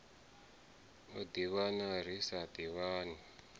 u ḓivhana ri sa ḓivhani